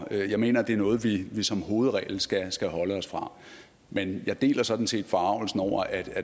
jeg mener at det er noget vi som hovedregel skal skal holde os fra men jeg deler sådan set forargelsen over at